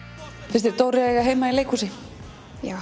finnst þér Dóri eiga heima í leikhúsi já